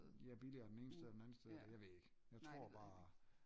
Ja billigere den ene sted eller den andet sted jeg ved det ikke jeg tror bare